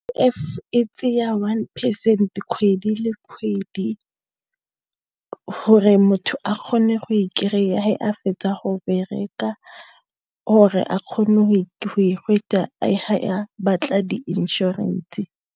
e tsaya one percent kgwedi le kgwedi gore motho a kgone go e kry-a fa a fetsa go bereka gore a kgone go e a batla di inšorense.